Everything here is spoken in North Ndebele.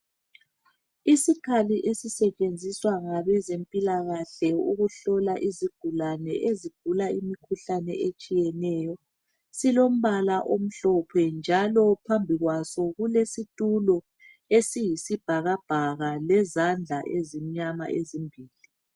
Isikhali esisetshenziswa ngabezempilakàhle ukuhlola izigulane ezigula imikhuhlane etshiyeneyo .Silombala omhlophe njalo phambi kwaso kulesitulo esiyisibhakabhaka lezandla ezimnyama ezimbili.